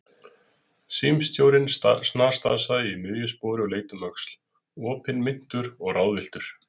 Símstjórinn snarstansaði í miðju spori og leit um öxl, opinmynntur og ráðvilltur.